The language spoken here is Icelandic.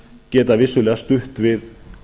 geta vissulega stutt við